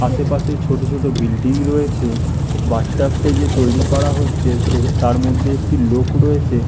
আশেপাশে ছোট ছোট বিল্ডিং রয়েছে। বাথটাব -টা যে তৈরী করা হচ্ছে সে তার মধ্যে একটি লোক রয়েছে--